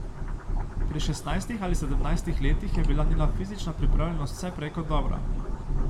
Pri šestnajstih ali sedemnajstih letih je bila njena fizična pripravljenost vse prej kot dobra.